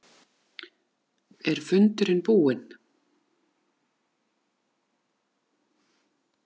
Er fundurinn búinn?